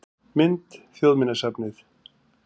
Mynd: Þjóðminjasafnið